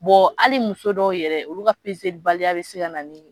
hali muso dɔw yɛrɛ olu ka baliya bɛ se ka na ni